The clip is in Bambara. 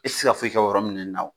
I tɛ se ka foyi kɛ o yɔrɔnin ninnu na